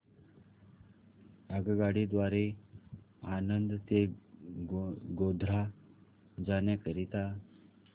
आगगाडी द्वारे आणंद ते गोध्रा जाण्या करीता